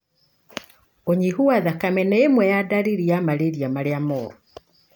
ũnyihu wa thakame nĩ imwe ya ndariri ya malaria marĩa moru.